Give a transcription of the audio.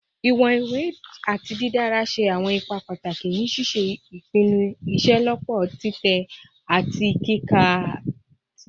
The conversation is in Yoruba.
Iwọn iwe ati didara ṣe awọn ipa pataki ni ṣiṣe ipinnu iṣelọpọ titẹ ati kika ti awọn atẹjade tẹlẹ